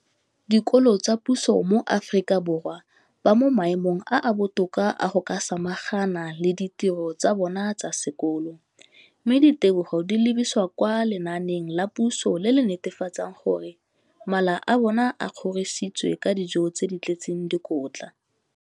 Dikolo tsa puso mo Aforika Borwa ba mo maemong a a botoka a go ka samagana le ditiro tsa bona tsa sekolo, mme ditebogo di lebisiwa kwa lenaaneng la puso le le netefatsang gore mala a bona a kgorisitswe ka dijo tse di tletseng dikotla.